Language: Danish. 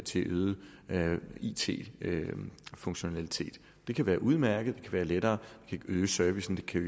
til øget it funktionalitet det kan være udmærket være lettere det kan øge servicen det kan